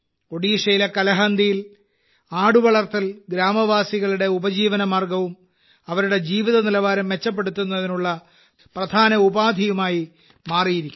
ഒഡീഷയിലെ കലഹന്ദിയിൽ ആടുവളർത്തൽ ഗ്രാമവാസികളുടെ ഉപജീവനമാർഗവും അവരുടെ ജീവിതനിലവാരം മെച്ചപ്പെടുത്തുന്നതിനുള്ള ഒരു പ്രധാന ഉപാധിയായി മാറിയിരിക്കുന്നു